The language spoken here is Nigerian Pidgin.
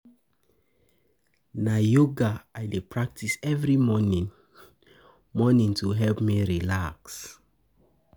Na yoga I dey practice every morning morning to help me relax.